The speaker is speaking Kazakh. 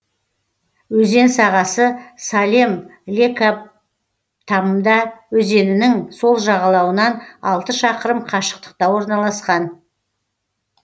өзен сағасы салем лекабтамбда өзенінің сол жағалауынан алты шақырым қашықтықта орналасқан